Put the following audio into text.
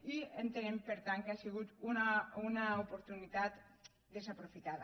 i entenem per tant que ha sigut una oportunitat desaprofitada